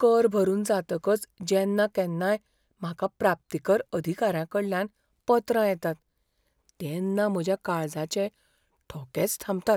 कर भरून जातकच जेन्ना केन्नाय म्हाका प्राप्तीकर अधिकाऱ्यांकडल्यान पत्रां येतात तेन्ना म्हज्या काळजाचे ठोकेच थांबतात.